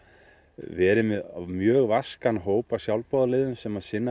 verið með mjög vaskan hóp af sjálfboðaliðum sem sinna